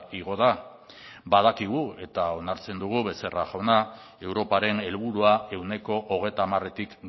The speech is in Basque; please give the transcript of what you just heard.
igo da badakigu eta onartzen dugu becerra jauna europaren helburua ehuneko hogeita hamaretik